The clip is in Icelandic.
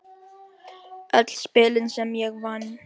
Öll spilin sem ég vann.